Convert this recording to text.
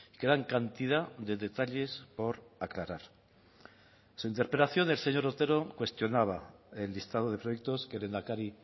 quedan cantidad de detalles por aclarar en su interpelación el señor otero cuestionaba el listado de proyectos que el lehendakari